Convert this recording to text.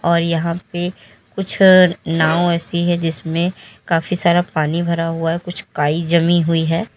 और यहां पे कुछ नाव ऐसी है जिसमें काफी सारा पानी भरा हुआ है कुछ काई जमी हुई है।